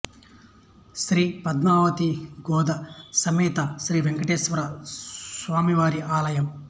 శ్రీ పద్మావతీ గోదా సమేత శ్రీ వెంకటేశ్వర స్వామివారి ఆలయం